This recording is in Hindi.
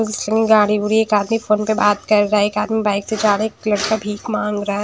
इतनी गाड़ी मुड़ी एक आदमी फोन पे बात कर रहा है एक आदमी बाइक से जा रहा है एक लड़का भीख माँग रहा है।